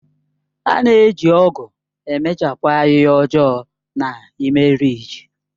A na-eji ọ̀gu na-emechapụ ahịhịa ọjọọ na ime rịjị.